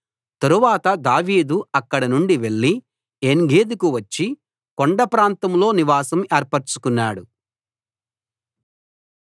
తరువాత దావీదు అక్కడనుండి వెళ్ళి ఏన్గెదీకి వచ్చి కొండ ప్రాంతలో నివాసం ఏర్పరచుకున్నాడు